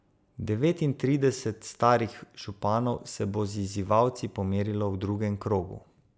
Devetintrideset starih županov se bo z izzivalci pomerilo v drugem krogu.